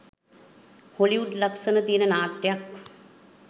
Hollywood ලක්ෂණ තියෙන නාට්‍යයක්.